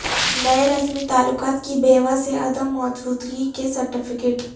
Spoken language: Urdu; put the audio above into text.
نئے رسمی تعلقات کی بیوہ سے عدم موجودگی کے سرٹیفکیٹ